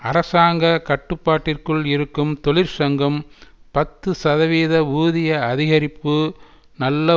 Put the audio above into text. அரசாங்க கட்டுப்பாட்டிற்குள் இருக்கும் தொழிற்சங்கம் பத்து சதவீத ஊதிய அதிகரிப்பு நல்ல